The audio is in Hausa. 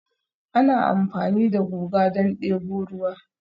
Ana amfani da guga don debo ruwa